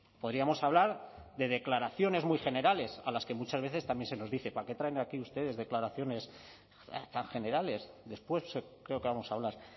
podríamos hablar de declaraciones muy generales a las que muchas veces también se nos dice para qué traen aquí ustedes declaraciones tan generales después creo que vamos a hablar